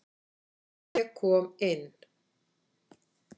Ég kom inn.